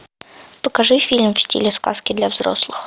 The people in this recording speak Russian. покажи фильм в стиле сказки для взрослых